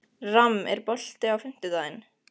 Ram, er bolti á fimmtudaginn?